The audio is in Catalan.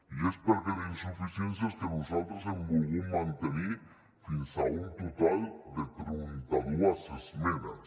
i és perquè té insuficiències que nosaltres hem volgut mantenir fins a un total de trenta dos esmenes